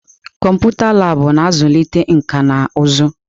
Kọmputa Laabụ̀ na-azụlite nkà na ụzụ.